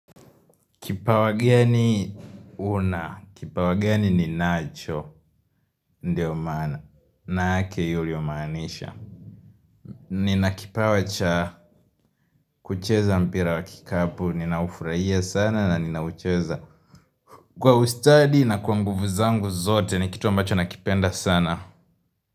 Kipawa geni huna, kipawa geni ninacho, ndio manake huyo yamaanisha Nina kipawa cha kucheza mpira wa kikapu, ninaufurahia sana na ninaucheza kwa ustadi na kwa nguvu zangu zote, ni kitu ambacho nakipenda sana.